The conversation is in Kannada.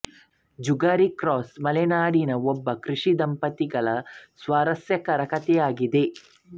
ಜುಗಾರಿ ಕ್ರಾಸ್ ಮಲೆನಾಡಿನ ಒಬ್ಬ ಕೃಷಿಕ ದಂಪತಿಗಳ ಸ್ವಾರಸ್ಯಕರ ಕಥೆಯಾಗಿದೆ